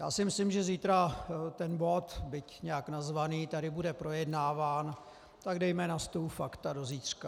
Já si myslím, že zítra ten bod, byť nějak nazvaný, tady bude projednáván, tak dejme na stůl fakta do zítřka.